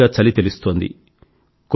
కొద్ది కొద్దిగా చలి తెలుస్తోంది